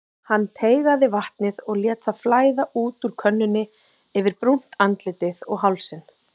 Hann teygaði vatnið og lét það flæða út úr könnunni yfir brúnt andlitið og hálsinn.